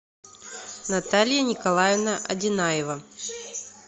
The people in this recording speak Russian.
наталья николаевна одинаева